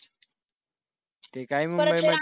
ते काय मुंबईमध्ये